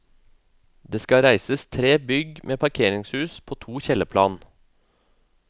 Det skal reises tre bygg med parkeringshus på to kjellerplan.